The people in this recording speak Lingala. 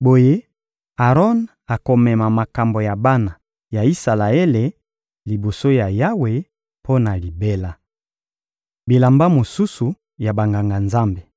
Boye Aron akomema makambo ya bana ya Isalaele liboso ya Yawe mpo na libela. Bilamba mosusu ya Banganga-Nzambe